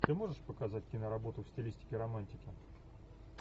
ты можешь показать киноработу в стилистике романтики